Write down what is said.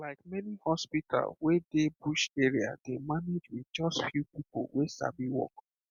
like many hospital wey dey bush area dey manage with just few people wey sabi work